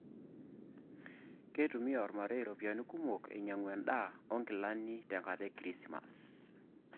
Keitumia irmarei iropiyian kumok ainyiang'u endaa onkilani tenkata e kirisimas